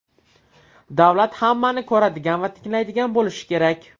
Davlat hammani ko‘radigan va tinglaydigan bo‘lishi kerak.